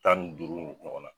Tan ni duuru ɲɔgɔn na.